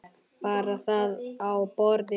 Bar það á borð fyrir